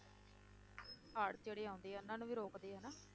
ਹੜ੍ਹ ਜਿਹੜੇ ਆਉਂਦੇ ਆ, ਉਹਨਾਂ ਨੂੰ ਵੀ ਰੋਕਦੇ ਆ ਨਾ,